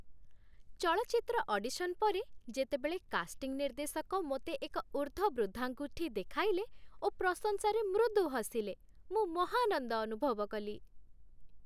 ଚଳଚ୍ଚିତ୍ର ଅଡିସନ୍ ପରେ ଯେତେବେଳେ କାଷ୍ଟିଂ ନିର୍ଦ୍ଦେଶକ ମୋତେ ଏକ ଉର୍ଦ୍ଧ୍ଵ ବୃଦ୍ଧାଙ୍ଗୁଠି ଦେଖାଇଲେ ଓ ପ୍ରଶଂସାରେ ମୃଦୁ ହସିଲେ ମୁଁ ମହାନନ୍ଦ ଅନୁଭବ କଲି।